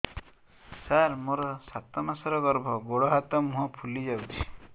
ସାର ମୋର ସାତ ମାସର ଗର୍ଭ ଗୋଡ଼ ହାତ ମୁହଁ ଫୁଲି ଯାଉଛି